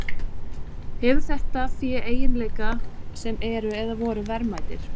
Hefur þetta fé eiginleika sem eru, eða voru, verðmætir?